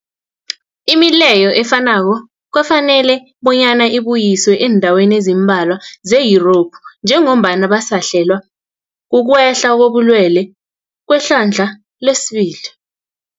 Imileyo efanako kwafanela bonyana ibuyiswe eendaweni ezimbalwa ze-Yurophu njengombana basahlelwa kukwehla kobulwele kwehlandla lesibili.